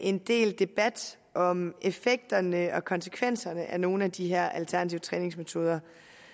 en del debat om effekterne og konsekvenserne af nogle af de her alternative træningsmetoder